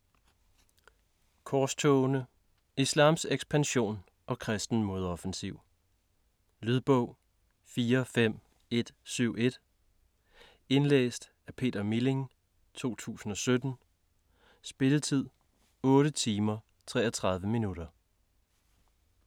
Korstogene: islams ekspansion og kristen modoffensiv Lydbog 45171 Indlæst af Peter Milling, 2017. Spilletid: 8 timer, 33 minutter.